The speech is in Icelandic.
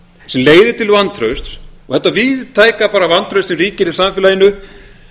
sem leiðir til vantrausts og þetta víðtæka bara vantraust sem ríkir í samfélaginu